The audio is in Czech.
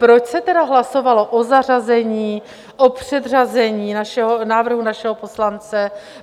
Proč se tedy hlasovalo o zařazení, o předřazení návrhu našeho poslance?